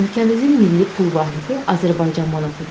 Ölkəmizin milli pul vahidi Azərbaycan manatıdır.